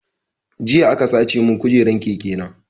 Jiya aka sace mun kujeran keke na